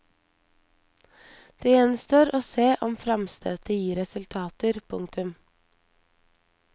Det gjenstår å se om framstøtet gir resultater. punktum